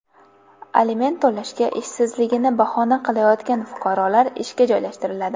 Aliment to‘lashga ishsizligini bahona qilayotgan fuqarolar ishga joylashtiriladi.